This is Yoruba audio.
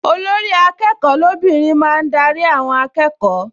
Olórí-akẹ́kọ̀ọ́ lóbìnrin máa ń darí àwọn akẹ́kọ̀ọ